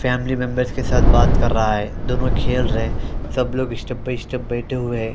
Family members के साथ बात कर रहा है दोनों खेल रहे है सब लोग स्टेप बाय स्टेप बैठे हुए हैं।